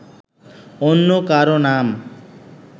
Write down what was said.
অন্য কারও নাম